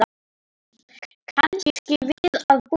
Kannski við að búast.